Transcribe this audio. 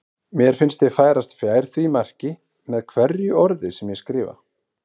Mér finnst ég færast fjær því marki með hverju orði sem ég skrifa.